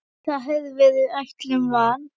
Það hafði verið ætlun van